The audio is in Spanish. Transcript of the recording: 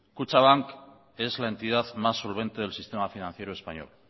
kutxabank es la entidad más solvente del sistema financiero español